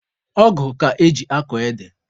Ọgụ ka eji akọ ede.